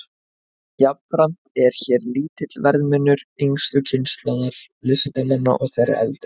Jafnframt er hér lítill verðmunur yngstu kynslóðar listamanna og þeirrar eldri.